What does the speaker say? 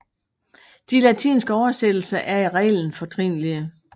De latinske oversættelser er i reglen fortrinlige